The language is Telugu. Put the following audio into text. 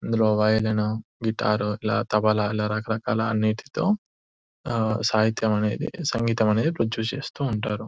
ఇందులో వయోలిన్ ను గిటార్ తబలా ఇలా రకరకాల అన్నిటితో ఆ సహితం అనేది సంగీతం అనేదిప్రొడ్యూస్ చేస్తూ ఉంటారు .